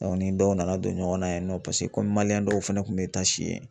ni dɔw nana don ɲɔgɔnna yen nɔ paseke kɔmi maliyɛn dɔw fɛnɛ kun be taa si yen